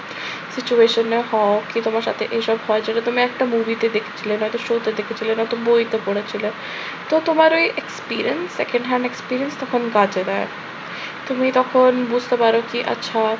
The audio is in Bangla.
situation এ হও কি তোমার সাথে এসব হয় যদি তুমি একটা movie তে দেখেছিলে নয়তো show তে দেখেছিলে, নয়তো বইতে পড়েছিলে। তো তোমার ওই experience second hand experience তখন কাজে দেয়। তুমি তখন বুঝতে পারো কি আচ্ছা